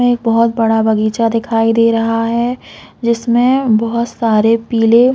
यहाँ एक बहोत बड़ा बगीचा दिखाई दे रहा है जिसमे बहोत सारी पीले--